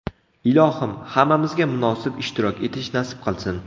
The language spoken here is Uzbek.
Ilohim, hammamizga munosib ishtirok etish nasib qilsin!